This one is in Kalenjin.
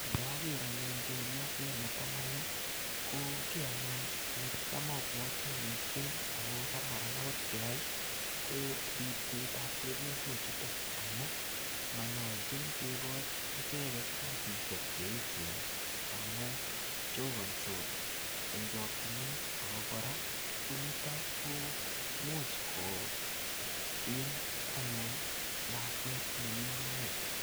Ndaker anyun chepyoset ne tamanu, ko kiy anyun necham abwati missing ako kararan akot keyai, ko ripsetab chepyosok chutok. Amu manyolchin kekochi icheket kasisiek che echen, amu chokansot en chakchinet. Ako kora, ko niton, komuch koim anyun lakwet nemii moet.